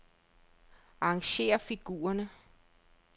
Arrangér figurerne.